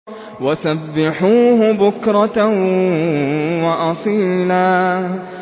وَسَبِّحُوهُ بُكْرَةً وَأَصِيلًا